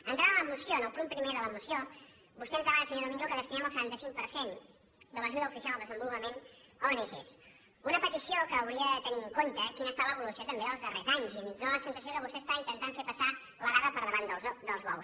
entrant a la moció en el punt primer de la moció vostè ens demana senyor domingo que destinem el setanta cinc per cent de l’ajuda oficial al desenvolupament a ong una petició que hauria de tenir en compte quina ha estat l’evolució també dels darrers anys i ens dóna la sen sació que vostè està intentant fer passar l’arada per davant dels bous